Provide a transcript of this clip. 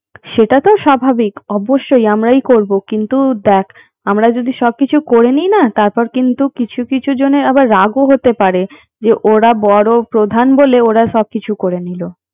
সেটা তো স্বাভাবিক অবশ্যই আমরাই করবো কিন্তু দেখ আমরা যদি সবকিছু করে নেই না তারপর কিন্তু কিছু কিছু জনের আবার রাগও হতে পারে যে ওরা বড় প্রধান বলে ওরা সবকিছু করে নিল